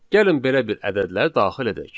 Gəlin belə bir ədədlər daxil edək.